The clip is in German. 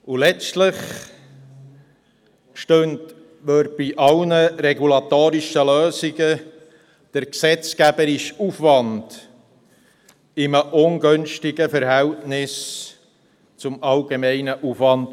Letztlich stünde bei allen regulatorischen Lösungen der gesetzgeberische Aufwand in einem ungünstigen Verhältnis zum allgemeinen Aufwand.